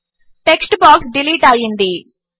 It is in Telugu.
టెక్స్ట్ బాక్స్ డిలీట్ అయ్యింది